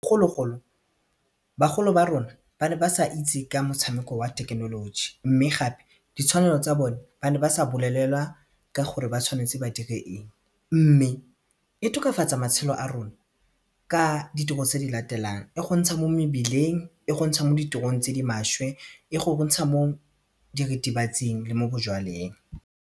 Bogologolo bagolo ba rona ba ne ba sa itse ka motshameko wa thekenoloji mme gape ditshwanelo tsa bone ba ne ba sa bolelelwa ka gore ba tshwanetse ba dire eng mme e tokafatsa matshelo a rona ka ditiro tse di latelang e go ntsha mo mebileng, e go ntsha mo ditirong tse di maswe, e go ntsha mo diritibatsing le mo bojalweng.